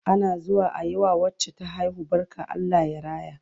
Ana zuwa ayi wa wacce ta haihu barka Allah ya raya